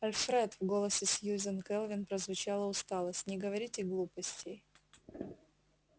альфред в голосе сьюзен кэлвин прозвучала усталость не говорите глупостей